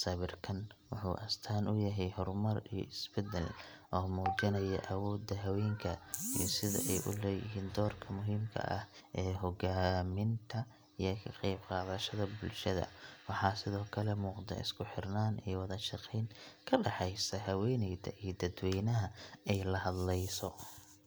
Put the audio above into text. Sawirkan wuxuu astaan u yahay horumar iyo isbeddel, oo muujinaya awoodda haweenka iyo sida ay u leeyihiin doorka muhiimka ah ee hoggaaminta iyo ka qaybqaadashada bulshada. Waxaa sidoo kale muuqda isku xirnaan iyo wada-shaqeyn ka dhexaysa haweeneyda iyo dadweynaha ay la hadleyso.